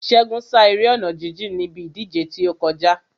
Ṣégun sá eré ọ̀nà jíjìn níbi ìdíje tí ó kọjá.